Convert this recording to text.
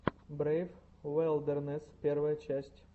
брейв вайлдернесс первая часть